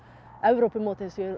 Evrópumótið